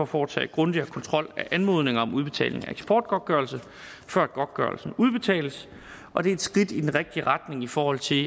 foretage grundigere kontrol af anmodninger om udbetaling af eksportgodtgørelse før godtgørelsen udbetales og det er et skridt i den rigtige retning i forhold til